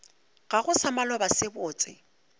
gago sa maloba se botse